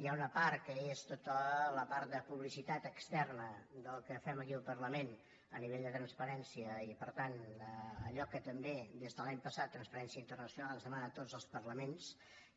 hi ha una part que és tota la part de publicitat externa del que fem aquí al parlament a nivell de transparència i per tant allò que també des de l’any passat transparència internacional ens demana a tots els parlaments